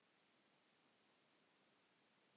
Annar þeirra var í þessu!